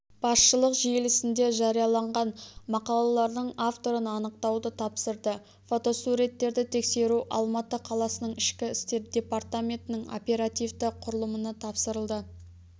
басшылық желісінде жарияланған мақалалардың авторын анықтауды тапсырды фотосуреттерді тексеру алматы қаласының ішкі істер департаментінің оперативті құрылымына тапсырылды